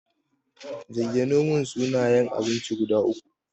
Zayyanomin suna yan abinci guda uku.